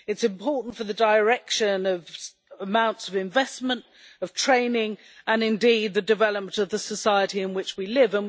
It is important for the direction of amounts of investment, of training and, indeed, the development of the society in which we live.